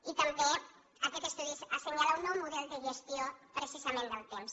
i també aquest estudi assenyala un nou model de gestió precisament del temps